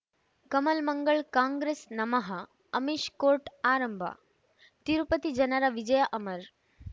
ಕಮಲ್ ಮಂಗಳ್ ಕಾಂಗ್ರೆಸ್ ನಮಃ ಅಮಿಷ್ ಕೋರ್ಟ್ ಆರಂಭ ತಿರುಪತಿ ಜನರ ವಿಜಯ ಅಮರ್